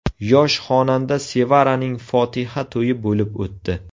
Yosh xonanda Sevaraning fotiha to‘yi bo‘lib o‘tdi.